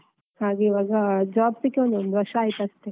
ಹಾಗೆ ಈವಾಗ job ಸಿಕ್ಕಿ ಒಂದು ವರ್ಷ ಆಯ್ತು ಅಷ್ಟೆ.